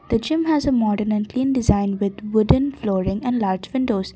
which him as a modinent cream design with wooden flooring and light windows.